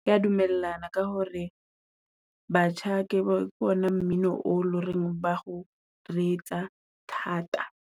Kea dumellana ka hore batjha ke wona mmino o lo reng ba o retsa thata.